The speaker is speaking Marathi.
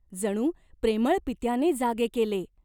जणू प्रेमळ पित्याने जागे केले.